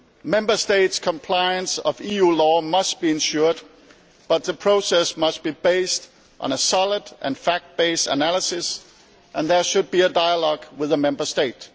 Member States' compliance with EU law must be ensured, but the process must be based on a solid and fact based analysis and there should be a dialogue with the Member State.